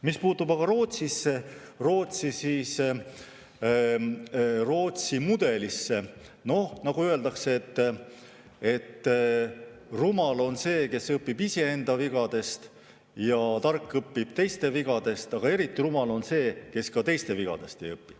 Mis puutub aga Rootsisse, Rootsi mudelisse – nagu öeldakse, rumal on see, kes õpib iseenda vigadest, tark õpib teiste vigadest, aga eriti rumal on see, kes ka teiste vigadest ei õpi.